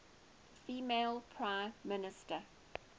female prime minister